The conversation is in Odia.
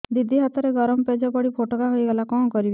ଦିଦି ହାତରେ ଗରମ ପେଜ ପଡି ଫୋଟକା ହୋଇଗଲା କଣ କରିବି